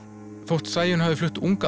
þótt Sæunn hafi flust ung